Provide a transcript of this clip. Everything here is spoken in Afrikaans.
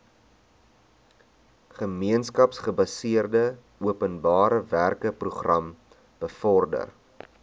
gemeenskapsgebaseerde openbarewerkeprogram bevorder